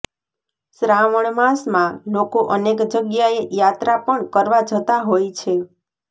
શ્રાવણ માસમાં લોકો અનેક જગ્યાએ યાત્રા પણ કરવા જતા હોય છે